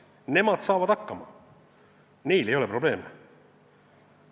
Nemad saavad hakkama, neil ei ole probleeme.